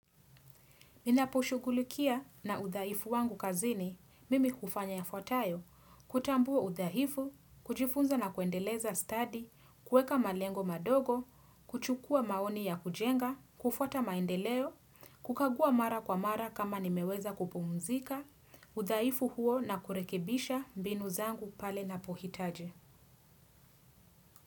Ninaposhugulikia na udhaifu wangu kazini, mimi hufanya yafuatayo, kutambua udhaifu, kujifunza na kuendeleza stadi, kuweka malengo madogo, kuchukua maoni ya kujenga, kufwata maendeleo, kukagua mara kwa mara kama nimeweza kupumzika, udhaifu huo na kurekebisha mbinu zangu pale napohitaji.